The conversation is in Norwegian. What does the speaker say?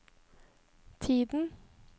tiden